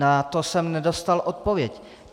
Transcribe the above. Na to jsem nedostal odpověď.